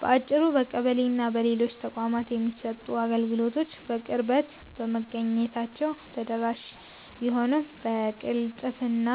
ባጭሩ፣ በቀበሌና በሌሎች ተቋማት የሚሰጡ አገልግሎቶች በቅርበት በመገኘታቸው ተደራሽ ቢሆኑም፣ በቅልጥፍና